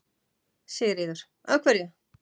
Sigríður: Af hverju?